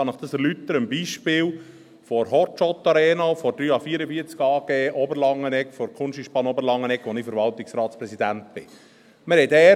Ich kann Ihnen dies erläutern am Beispiel der «Hot Shot Arena» der 3H44 AG der Kunsteisbahn Oberlangenegg, deren Verwaltungsratspräsident ich bin.